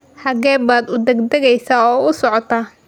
Xagee baad uu dagdagesa oo u socotaa?